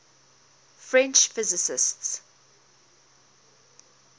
french physicists